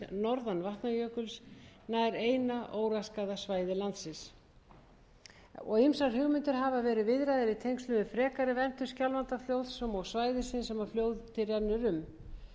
norðan vatnajökuls nær eina óraskaða svæðis landsins ýmsar hugmyndir hafa verið viðraðar í tengslum við frekari verndun skjálfandafljóts sem og svæðisins sem fljótið rennur um